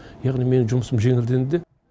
яғни менің жұмысым жеңілденді